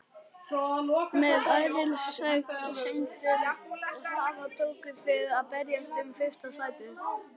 Með æðisgengnum hraða tókuð þið að berjast um fyrsta sætið.